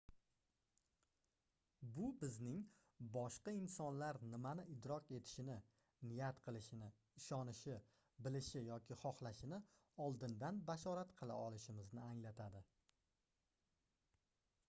bu bizning boshqa insonlar nimani idrok etishini niyat qilishini ishonishi bilishi yoki xohlashini oldindan bashorat qila olishimizni anglatadi